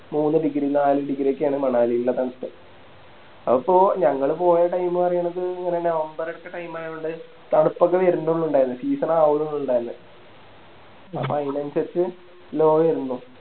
മൂന്ന് Degree നാല് Degree ഒക്കെയാണ് മണാലിലെ തണുപ്പ് അപ്പൊ ഞങ്ങള് പോയ Time ന്ന് പറയണത് ഒര് November അടുത്ത Time ആയകൊണ്ട് തണുപ്പൊക്കെ വെരുന്നൊള്ളു ഇണ്ടയിന്നെ Season ആവുന്നേ ഉണ്ടാന്നെ അപ്പോ അതിനനുസരിച്ച് Low ആരുന്നു